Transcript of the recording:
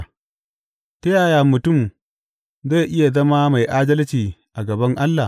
Ta yaya mutum zai iya zama mai adalci a gaban Allah?